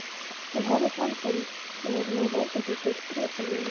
Hún horfði framhjá mér með leyndardómsfullt bros á vörunum.